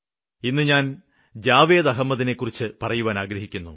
ഇന്ന് ഞാന് ജാവേദ് അഹമ്മദിനെ കുറിച്ച് പറയുവാന് ആഗ്രഹിക്കുന്നു